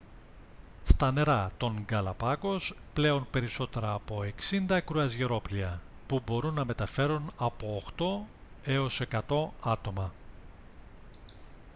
στα νερά των γκαλαπάγκος πλέουν περισσότερα από 60 κρουαζιερόπλοια που μπορούν να μεταφέρουν από 8-100 άτομα